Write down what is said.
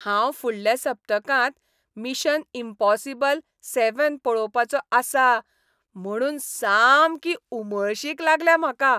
हांव फुडल्या सप्तकांत मिशन इम्पॉसिबल सेवॅन पळोवपाचो आसां म्हुणून सामकी उमळशीक लागल्या म्हाका.